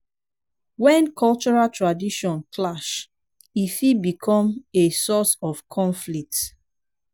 when cultural tradition clash e fit become a source of conflict